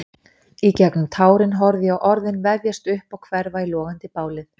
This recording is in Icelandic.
Í gegnum tárin horfði ég á orðin vefjast upp og hverfa í logandi bálið.